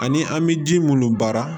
Ani an bɛ ji minnu baara